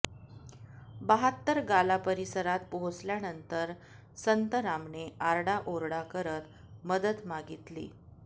बहात्तर गाला परिसरात पोहचल्यानंतर संतरामने आरडाओरडा करत मदत मागितली